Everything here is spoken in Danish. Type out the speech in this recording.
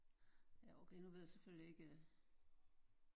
Ja okay nu ved jeg selvfølgelig ikke